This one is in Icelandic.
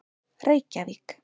Reykjavík